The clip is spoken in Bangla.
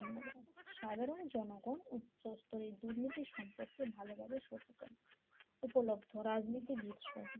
সাধারণ জনগণ উচ্চ স্তরের দুর্নীতি সম্পর্কে ভালোভাবে সচেতন উপলব্ধ রাজনীতিবীদ সহ।